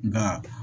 Nka